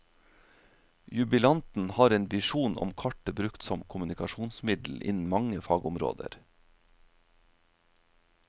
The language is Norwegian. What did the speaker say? Jubilanten har en visjon om kartet brukt som kommunikasjonsmiddel innen mange fagområder.